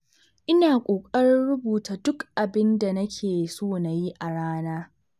Ina ƙoƙarin rubuta duk abin da nake so na yi a rana.